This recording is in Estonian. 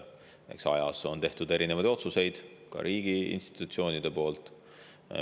Eks aja jooksul ole tehtud erinevaid otsuseid ka riigiinstitutsioonide poolt.